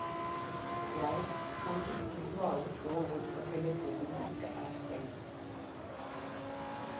Jeg kan ikke svare på hvorfor telefonen ikke er stengt.